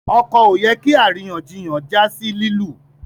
ọkọ ọ yẹ kí àríyànjiyàn já sí lilu